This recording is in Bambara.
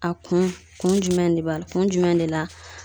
A kun kun jumɛn de b'a la kun jumɛn de la